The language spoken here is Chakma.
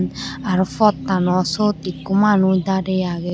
Aro pottano siyot ekko manuch darey agey.